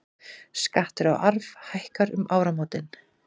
Skattur á arf hækkar um áramótin